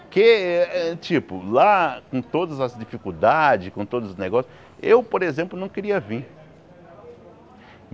Que, eh tipo, lá com todas as dificuldades, com todos os negócios, eu, por exemplo, não queria vim.